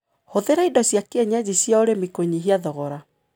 Hũthĩra indo cia kienyeji cia ũrĩmi kũnyihia thogora.